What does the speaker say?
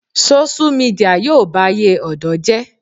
Sóṣú midià yóò bayé ọ̀dọ́ jẹ́